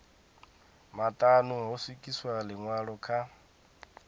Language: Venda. maṱanu ho swikiswa ḽiṅwalo kha